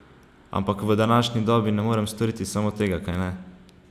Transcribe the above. Ampak v današnji dobi ne morem storiti samo tega, kajne?